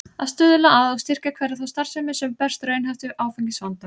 Að stuðla að og styrkja hverja þá starfsemi, sem berst raunhæft við áfengisvandann.